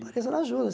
Que pareça, ela ajuda.